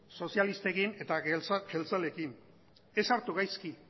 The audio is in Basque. sozialistekin eta jeltzaleekin ez hartu gaizki